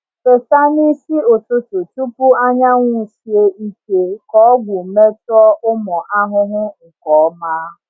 Fesa n’isi ụtụtụ tupu anyanwụ sie ike ka ọgwụ metụọ ụmụ ahụhụ nke ọma.